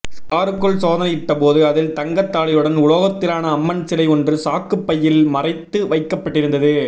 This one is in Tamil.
காருக்குள் சோதனை யிட்ட போது அதில் தங்க தாலியுடன் உலோகத்திலான அம்மன் சிலை ஒன்று சாக்கு பையில் மறைத்து வைக்கப்பட்டிருந்தது